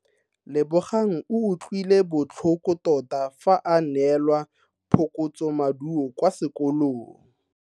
Lebogang o utlwile botlhoko tota fa a neelwa phokotsomaduo kwa sekolong.